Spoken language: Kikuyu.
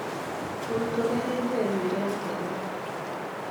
Mũrutwo nĩarenjire njuĩri yake ira